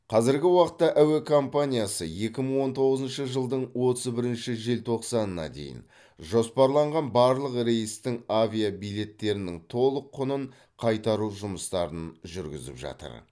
қазіргі уақытта әуе компаниясы екі мың он тоғызыншы жылдың отыз бірінші желтоқсанына дейін жоспарланған барлық рейстің авиабилеттерінің толық құнын қайтару жұмыстарын жүргізіп жатыр